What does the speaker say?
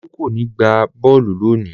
Olú kò ní gbá bọ́ọ́lù lónìí!